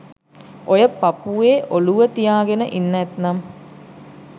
ඔය පපුවේ ඔළුව තියාගෙන ඉන්න ඇත්නම්